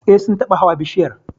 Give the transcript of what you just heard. Eh, Sun taba hawa bishiyar